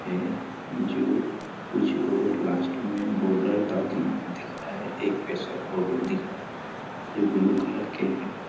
है जो कुछ लोग लास्ट में बोर्डर तक दिख रहा है एक पे सब फोटो दिख रहा है जो ब्लू कलर के हैं।